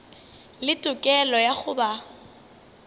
le tokelo ya go ba